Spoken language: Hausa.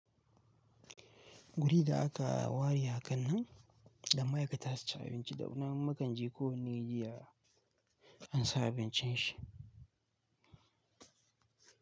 Guri da aka wari a kan nan da ma'aikata su ci abinci da na mukan je ko wanne jiya an sa abincin shi.